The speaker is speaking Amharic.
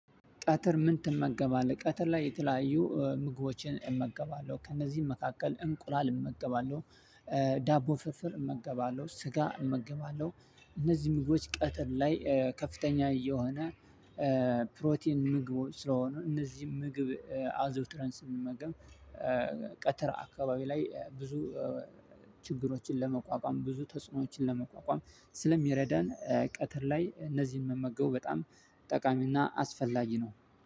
ቀትር ምን ትመገባለህ? ቀትር ላይ የተለያዩ ምግቦችን እመገባለሁ ከነዚህም መካከል እንቁላል እመገባለሁ ዳቦ ፍርፍር እመገባለሁ ስጋ እመገባለሁ። እነዚህን ምግቦች ቀጥር ላይ ከፍተኛ የሆነ ፕሮቲን ምግቦች ስለሆኑ እነዚህን ምግብ አዘውትረን ስንመገብ። ቀትር አካባቢ ላይ ብዙ ችግሮችን ለመቋቋም ብዙ ተጽኖዎችን ለመቋቋም ስለሚረዳን ቀትር ላይ እነዚህን መመገቡ በጣም ጠቃሚና አስፈላጊ ነው።